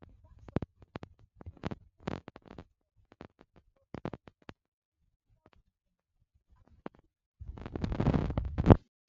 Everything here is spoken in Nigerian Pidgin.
di basotho dey wear dem as shawls for special for special events and dey give dem as gifts